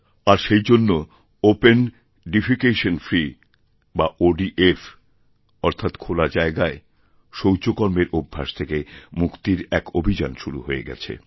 আর সেইজন্য open defecation free বা ODF অর্থাৎ খোলাজায়গায় শৌচকর্মের অভ্যাস থেকে মুক্তির এক অভিযান শুরু হয়ে গেছে